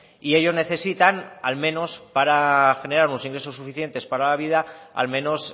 y ello necesitan al menos para generar unos ingresos suficientes para la vida al menos